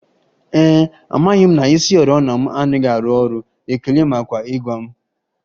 Ee e, amaghị m na isioriọna m anaghị arụ ọrụ, ekele maka ịgwa m